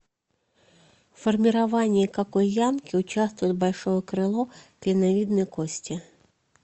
в формировании какой ямки участвует большое крыло клиновидной кости